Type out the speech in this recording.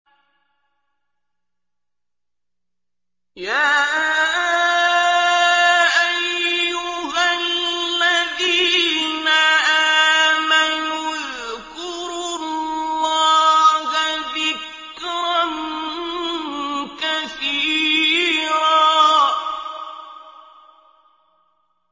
يَا أَيُّهَا الَّذِينَ آمَنُوا اذْكُرُوا اللَّهَ ذِكْرًا كَثِيرًا